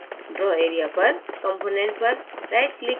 draw area पर component पर right click करें